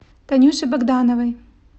танюше богдановой